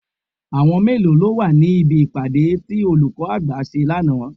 Àwọn mélòó lọ wà ní bí ìpàdé tí olùkọ́ àgbà ṣe lánàá?